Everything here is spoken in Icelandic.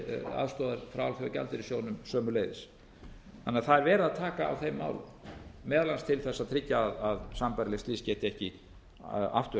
frá alþjóðagjaldeyrissjóðnum sömuleiðis þannig að það er verið að taka á þeim málum meðal annars til þess að tryggja að sambærilegt geti ekki aftur